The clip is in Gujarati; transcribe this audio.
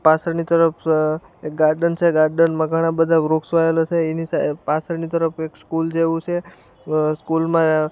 પાછળની તરફ એક ગાર્ડન છે ગાર્ડન માં બધા વૃક્ષો આવેલા છે એની પાછળની તરફ કોઈક સ્કૂલ જેવું છે સ્કૂલ માં --